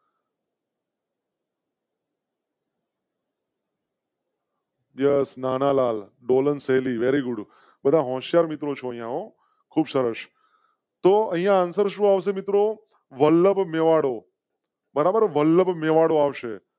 Yes Nanalal ડોલનશૈલી વ very good. બધા હોશિયાર મિત્રો છે હો અહીંયા તોહ અહીંયા answer સુ આવશે મિત્રોવલ્લભ મારો.